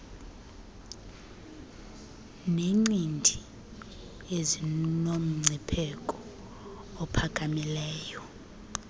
neencindi ezinomngcipheko ophakamileyo